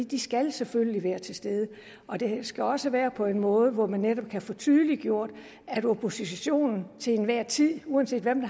de skal selvfølgelig være til stede og det skal også være på en måde hvor man netop kan få tydeliggjort at oppositionen til enhver tid uanset hvilken